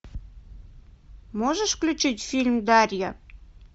можешь включить фильм дарья